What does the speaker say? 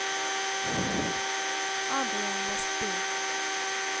Adrian Westby